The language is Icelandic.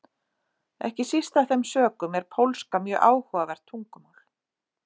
Ekki síst af þeim sökum er pólska mjög áhugavert tungumál.